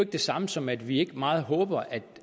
det samme som at vi ikke meget håber